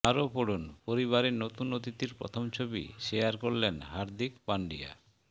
আরও পড়ুনঃপরিবারে নতুন অতিথির প্রথম ছবি শেয়ার করলেন হার্দিক পান্ডিয়া